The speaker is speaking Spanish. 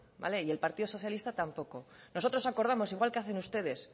y el partido socialista tampoco nosotros acordamos igual que hacen ustedes